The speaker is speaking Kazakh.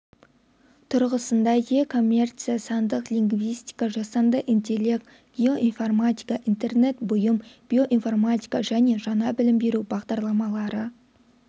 тұрғысында е-коммерция сандық лингвистика жасанды интеллект геоинформатика интернет бұйым биоинформатика және жаңа білім беру бағдарламалары